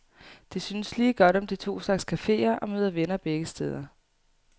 De synes lige godt om de to slags caféer og møder venner begge steder.